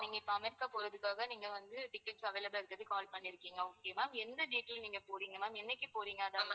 நீங்க இப்போ அமெரிக்கா போகுறதுக்குகாக நீங்க வந்து ticket available ஆ இருக்குறதுக்கு call பண்ணிருக்கீங்க okay வா எந்த date ல நீங்க போறீங்க ma'am என்னைக்கு போறீங்க